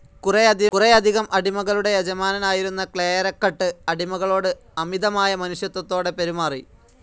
കുറേയധികം അടിമകളുടെ യജമാനനായിരുന്ന ക്ലേയെരക്കട്ട് അടിമകളോട് അമിതമായ മനുഷ്യത്വത്തോടെ പെരുമാറി.